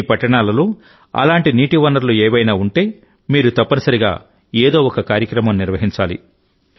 మీ పట్టణాలలో అలాంటి నీటి వనరులు ఏవైనా ఉంటేమీరు తప్పనిసరిగా ఏదో ఒకకార్యక్రమం నిర్వహించాలి